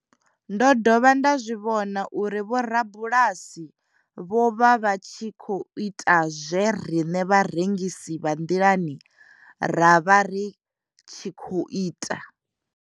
Ndo dovha nda zwi vhona uri vhorabulasi vho vha vha tshi khou ita zwe riṋe vharengisi vha nḓilani ra vha ri tshi khou ita.